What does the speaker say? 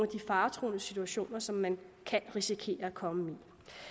de faretruende situationer som man kan risikere at komme